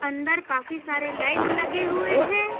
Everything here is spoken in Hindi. अंदर काफी सारे लाइट लगे हुए हैं।